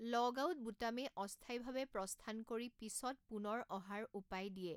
Logout বুটামে অস্থায়ীভাৱে প্ৰস্থান কৰি পিছত পুনৰ অহাৰ উপায় দিয়ে।